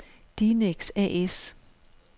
Dinex A/S